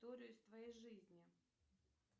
историю из твоей жизни